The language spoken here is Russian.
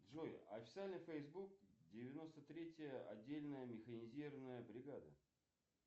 джой официальный фейсбук девяносто третья отдельная механизированная бригада